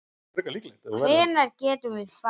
Hvenær getum við farið?